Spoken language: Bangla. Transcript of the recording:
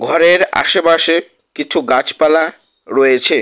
ঘরের আশেপাশে কিছু গাছপালা রয়েছে।